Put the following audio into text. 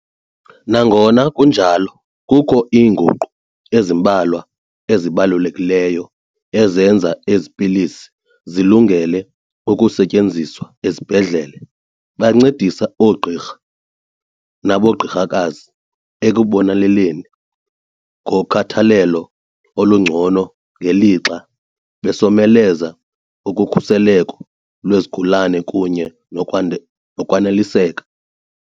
Nangona kunjalo, kukho iinguqu ezimbalwa ezibalulekileyo ezenza ezi pilisi zilungele ukusetyenziswa ezibhedlele. Bancedisa oogqirha nabongikazi ekuboneleleni ngokhathalelo olungcono ngelixa besomeleza ukhuseleko lwesigulana kunye nokwaneliseka.